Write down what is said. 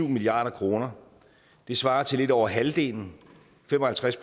milliard kroner det svarer til lidt over halvdelen fem og halvtreds